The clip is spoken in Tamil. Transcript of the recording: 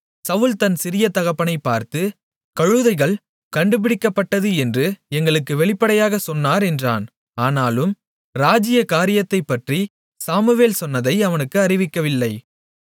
சவுல் தன் சிறிய தகப்பனைப் பார்த்து கழுதைகள் கண்டுபிடிக்கப்பட்டது என்று எங்களுக்கு வெளிப்படையாக சொன்னார் என்றான் ஆனாலும் ராஜ்ஜிய காரியத்தைப்பற்றிச் சாமுவேல் சொன்னதை அவனுக்கு அறிவிக்கவில்லை